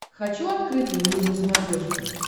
хочу открытый мир на смотрешке